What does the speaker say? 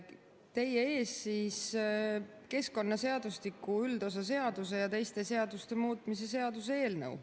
Teie ees on keskkonnaseadustiku üldosa seaduse ja teiste seaduste muutmise seaduse eelnõu.